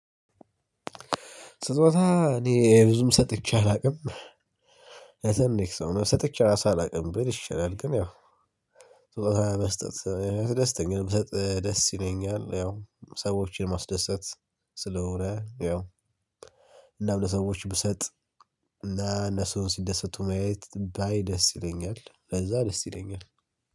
ስጦታ እኔ ብዙም ሰጥቼ አላውቅም። ለትንሽ ሰው ነው ሰጥቼ ራሱ አላውቅም ብል ይቻላል ግን ያው ስጦታ መስጠት ያስደስተኛ ደስ ይለኛል። ያው ሰዎችን ማስደሰት ስለሆነ ያው። እናም ለሰዎች ብሰጥ እና እነሱም ሲደሰቱ ማየት ባይ ደስ ይለኛል ለዛ ደስ ይለኛል